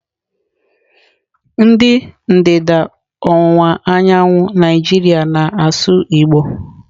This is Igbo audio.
Ndị ndịda ọwụwa anyanwụ Naijiria na-asụ Igbo.